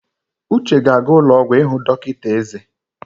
Uche ga-aga ụlọ ọgwụ ịhụ dọkịta eze.